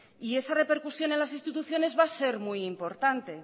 y esa repercusión en las instituciones va a ser muy importante